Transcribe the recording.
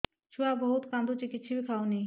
ଛୁଆ ବହୁତ୍ କାନ୍ଦୁଚି କିଛିବି ଖାଉନି